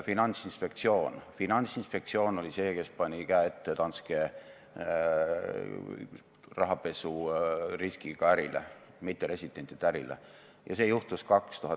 Ainus inimene, keda ma siin, ütleme, Eesti tippudest positiivselt esile tõstaksin – ma ei räägi opositsioonipoliitikutest, kes olid tookord määrimise all –, on Ardo Hansson.